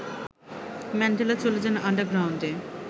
Mandela চলে যান আন্ডারগ্রাউন্ডে